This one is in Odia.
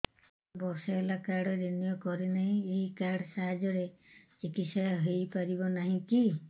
ମୋର ବର୍ଷେ ହେଲା କାର୍ଡ ରିନିଓ କରିନାହିଁ ଏହି କାର୍ଡ ସାହାଯ୍ୟରେ ଚିକିସୟା ହୈ ପାରିବନାହିଁ କି